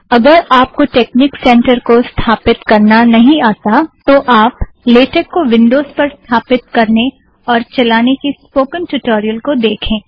अगर आप को टेक्निक सेंटर को स्थापित करना नहीं आता तो आप लेटेक को विंड़ोज़ पर स्थापित करने और चलाने की स्पोकन ट्यूटोरियल को देखें